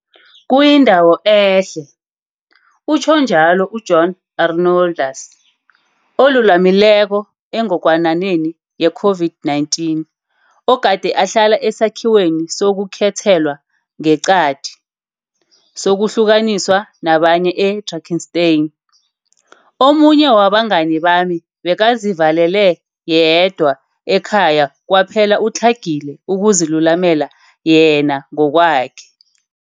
Kuyindawo ehle, utjho njalo u-John Arnoldus, olulamileko engogwananeni yeCOVID-19 ogade ahlala esakhiweni sokukhethelwa ngeqadi, sokuhlukaniswa nabanye e-Drakenstein. Omunye wabangani bami bekazivalele yedwa ekhaya kwaphela utlhagile ukuzilulamela yena ngokwakhe.